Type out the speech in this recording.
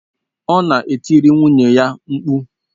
Ọ na-etiri nwunye ya mkpu.